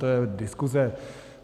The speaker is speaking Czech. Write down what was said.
To je diskuze.